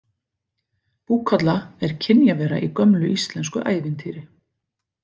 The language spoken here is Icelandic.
Búkolla er kynjavera í gömlu íslensku ævintýri.